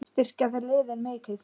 Styrkja þeir liðin mikið?